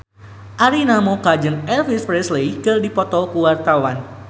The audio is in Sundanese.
Arina Mocca jeung Elvis Presley keur dipoto ku wartawan